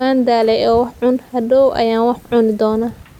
Waan daalay oo wax cun, hadhow ayaan wax cuni doonaa.